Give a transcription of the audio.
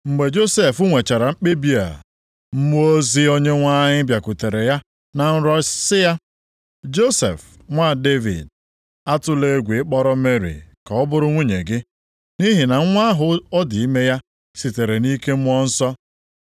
Mgbe Josef nwechara mkpebi a, mmụọ ozi Onyenwe anyị bịakwutere ya na nrọ sị ya, “Josef nwa Devid, atụla egwu ịkpọrọ Meri ka ọ bụrụ nwunye gị, nʼihi na nwa ahụ ọ dị ime ya sitere nʼike Mmụọ Nsọ.